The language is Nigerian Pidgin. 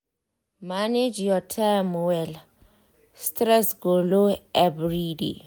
manage your time well stress go low everiday